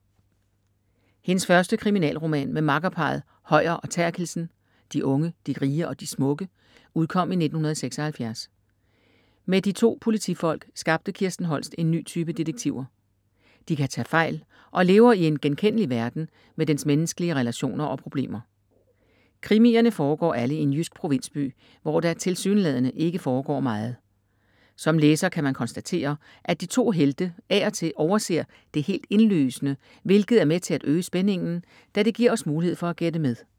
Hendes første kriminalroman med makkerparret Høyer og Therkildsen, De unge, de rige og de smukke, udkom i 1976. Med de 2 politifolk skabte Kirsten Holst en ny type detektiver. De kan tage fejl og lever i en genkendelig verden med dens menneskelige relationer og problemer. Krimierne foregår alle i en jysk provinsby, hvor der tilsyneladende ikke foregår meget. Som læser kan man konstatere, at de 2 ”helte” af og til overser det helt indlysende, hvilket er med til at øge spændingen, da det giver os mulighed for at gætte med.